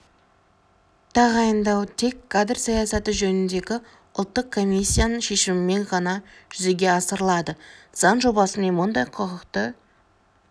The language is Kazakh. тағайындау тек кадр саясаты жөніндегі ұлттық комиссияның шешімімен ғана жүзеге асырылады заң жобасымен мұндай құқықты